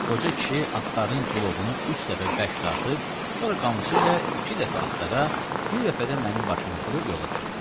Qoca kişi atların cılovunu üç dəfə bərk dartıb, sonra qamçı ilə iki dəfə atlara, bir dəfə də mənim başıma vurub yola düşdü.